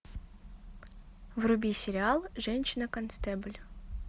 вруби сериал женщина констебль